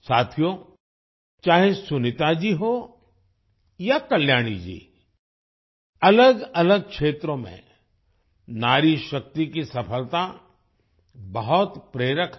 साथियो चाहे सुनीता जी हो या कल्याणी जी अलगअलग क्षेत्रों में नारीशक्ति की सफलता बहुत प्रेरक है